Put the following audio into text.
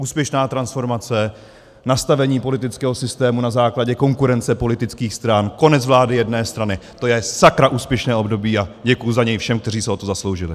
Úspěšná transformace, nastavení politického systému na základě konkurence politických stran, konec vlády jedné strany, to je sakra úspěšné období a děkuji za něj všem, kteří se o to zasloužili.